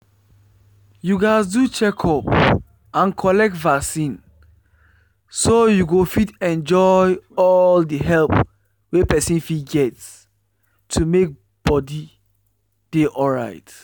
you gatz do checkup and collect vaccine so you go fit enjoy all the help wey person fit get to make body dey alright.